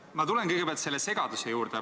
Ma tulen kõigepealt selle segaduse juurde.